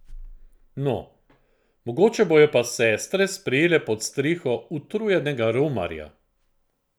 No, mogoče bojo pa sestre sprejele pod streho utrujenega romarja!